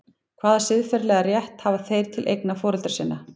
Hvaða siðferðilega rétt hafa þeir til eigna foreldra sinna?